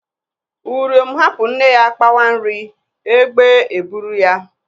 Uriom hapụ nne ya kpawa nri, egbe eburu ya.